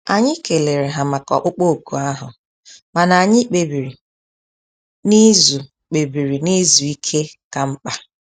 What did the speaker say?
Anyị kelere ha maka ọkpụkpụ òkù ahụ mana anyị kpebiri na izu kpebiri na izu ike ka mkpa